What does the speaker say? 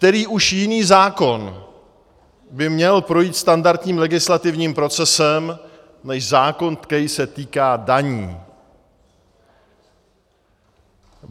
Který už jiný zákon by měl projít standardním legislativním procesem než zákon, který se týká daní?